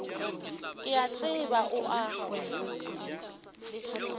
ke a tseba o a